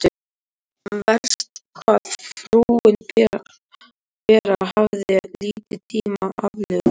Verst hvað frúin Bera hafði lítinn tíma aflögu.